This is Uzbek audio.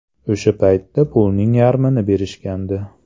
O‘sha paytda pulning yarmini berishgandi.